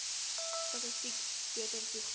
statistiek beter toegang